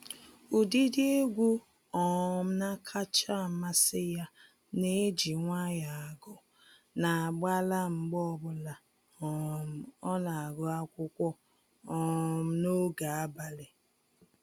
Ụdịdị egwu um na-akacha amasị ya na-eji nwayọọ agụ n'agbala mgbe ọbụla um ọ na-agụ akwụkwọ um n'oge abalị